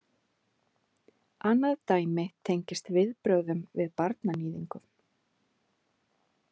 Annað dæmi tengist viðbrögðum við barnaníðingum.